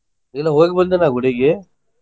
ಇಲ್ಲ ಹೋಗಿ ಬಂದೆ ನಾ ಗುಡಿಗೆ.